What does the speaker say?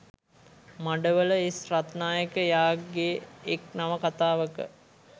මඩවල S Ratnayake එයාගේ එක් නවකතාවක